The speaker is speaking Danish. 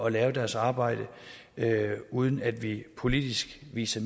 at gøre deres arbejde uden at vi politisk viser